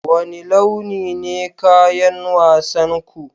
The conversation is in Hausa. Wane launi ne kayan wasan ku?